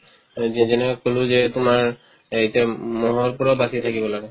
এতিয়া যেনেকা ক'লো যে তোমাৰ এতিয়া ম'হৰ উৎপাতত থাকিব লাগে